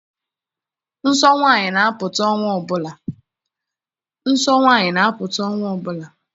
Nsọ nwaanyị na-apụta ọnwa ọbụla